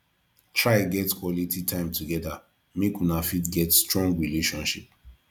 try get quality time together make una fit get strong relationship